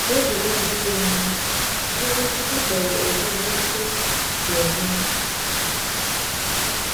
N’oge na-adịghị anya, ihe Nwachukwu kpọrọ “ogbugbu ukwu” ga-eme.